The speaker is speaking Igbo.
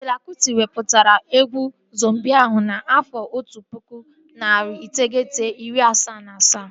Fela Kụti wepụtara egwu Zombii ahụ n'afọ otu pụkụ, narị iteghete, iri asaa na asaa